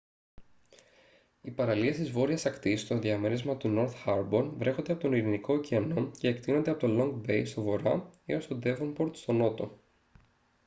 οι παραλίες της βόρειας ακτής στο διαμέρισμα του νορθ χάρμπορ βρέχονται από τον ειρηνικό ωκεανό και εκτείνονται από το λονγκ μπέι στον βορρά έως το ντέβονπορτ στον νότο